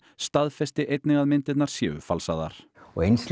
staðfesti einnig að myndirnar séu falsaðar eins